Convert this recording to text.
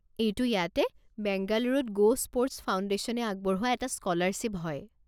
এইটো ইয়াতে বেংগালুৰুত গ'স্পৰ্টছ ফাউণ্ডেশ্যনে আগবঢ়োৱা এটা স্ক'লাৰশ্বিপ হয়।